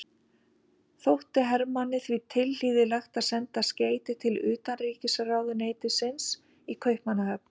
Þótti Hermanni því tilhlýðilegt að senda skeyti til utanríkisráðuneytisins í Kaupmannahöfn.